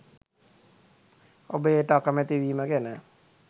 ඔබ එයට අකමැති වීම ගැන